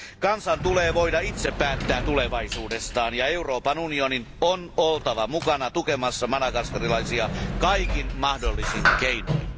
Kansan tulee voida itse päättää tulevaisuudestaan ja Euroopan unionin on oltava mukana tukemassa madagaskarilaisia kaikin mahdollisin keinoin.